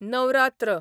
Navratra